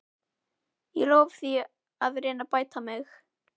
Ég lofa því að reyna að bæta mig.